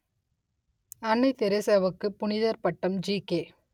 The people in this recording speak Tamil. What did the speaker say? அன்னை தெரசாவுக்கு புனிதர் பட்டம் ஜிகே